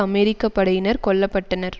அமெரிக்க படையினர் கொல்ல பட்டனர்